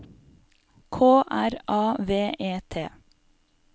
K R A V E T